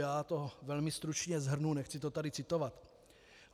Já to velmi stručně shrnu, nechci to tady citovat.